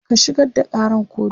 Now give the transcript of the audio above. ka shigar da Karan kotu!